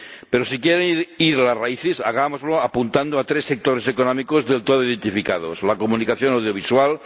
Pero si quieren ir a las raíces, hagámoslo apuntando a tres sectores económicos del todo identificados la comunicación audiovisual